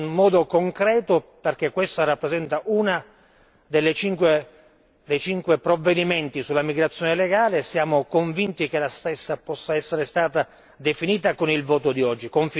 È un modo concreto perché rappresenta uno dei cinque provvedimenti sulla migrazione legale e siamo convinti che la stessa possa essere stata definita con il voto di oggi.